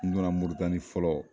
N donna Moritani fɔlɔ